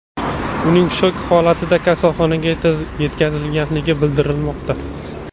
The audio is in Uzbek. Uning shok holatida kasalxonaga yetkazilgani bildirilmoqda.